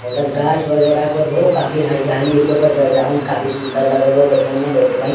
अ उधर गाछ वगैरह कोर हो काफी हरियाली है ओकर बैकग्राउंड काफी सुन्दर लग रहल हो देखे मे देख सके हीं।